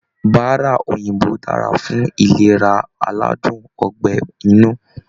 Bárá òyìnbó dára fún ìlera aládùn ọgbẹ̀ inú.